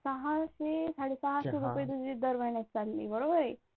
सहाशे साडेसहाशे रुपये तुझे दर महिन्यात चालले बरोबर आहे?